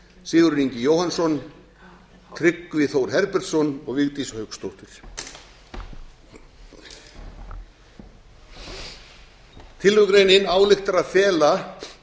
sigurður ingi jóhannsson tryggvi þór herbertsson og vigdís hauksdóttir tillögugreinin ályktar að fela